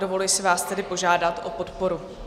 Dovoluji si vás tedy požádat o podporu.